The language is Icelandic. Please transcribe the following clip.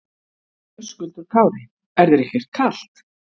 Höskuldur Kári: Er þér ekkert kalt?